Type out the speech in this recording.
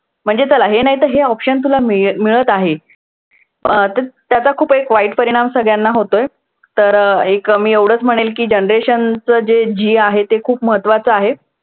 म्हणजे चला हे नाहीतर हे option तुला मिळत आहे. अं तर त्याचा खूप एक वाईट परिणाम सगळ्यांना होतोय. तर एक मी एवढंच म्हणेन की generation चं जे G आहे हे ते खूप महत्वाचं आहे.